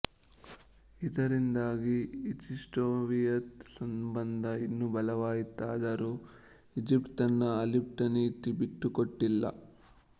ಇದರಿಂದಾಗಿ ಈಜಿಪ್ಟ್ಸೋವಿಯತ್ ಸಂಬಂಧ ಇನ್ನೂ ಬಲವಾಯಿತಾದರೂ ಈಜಿಪ್ಟ್ ತನ್ನ ಅಲಿಪ್ತ ನೀತಿ ಬಿಟ್ಟುಕೊಟ್ಟಿಲ್ಲ